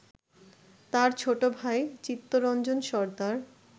তার ছোট ভাই চিত্তরঞ্জন সর্দার